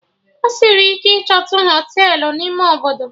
Ọ sịrị ike ichotu Họtelụ n'ime Obodo